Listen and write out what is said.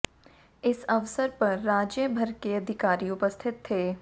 इस अवसर पर राज्य भर के अधिकारी उपस्थित थे